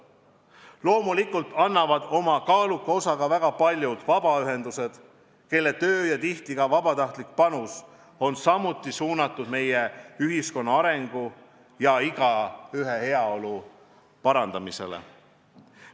Loomulikult annavad oma kaaluka osa väga paljud vabaühendused, kelle töö ja tihti ka vabatahtlik panus on samuti suunatud meie ühiskonna arengu ja igaühe heaolu parandamisele.